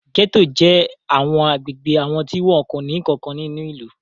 Gẹ́tò jẹ́ àwọn agbègbè àwọn tí wọn kò ní nǹkan kan nínú ìlú.